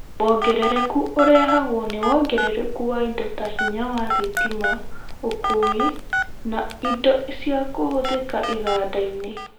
Wongerereku ũrehagwo nĩ wongerereku wa indo ta hinya wa thitima, ũkui na indo ciakũhũthĩka iganda -inĩ